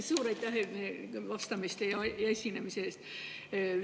Suur aitäh vastamise ja esinemise eest!